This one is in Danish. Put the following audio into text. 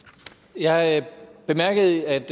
jeg bemærkede at